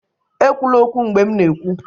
ekwula okwu mgbe m na-ekwu!